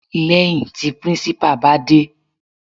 Lẹ́hìn tí principal bá dé.